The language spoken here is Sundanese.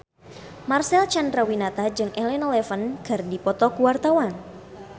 Marcel Chandrawinata jeung Elena Levon keur dipoto ku wartawan